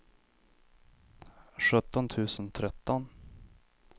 sjutton tusen tretton